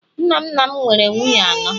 nna nna m nwere nwunye anọ